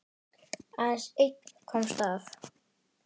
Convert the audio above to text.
Aðeins einn komst af.